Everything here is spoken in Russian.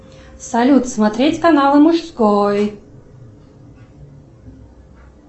салют смотреть канал мужской